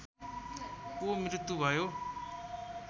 को मृत्यु भयो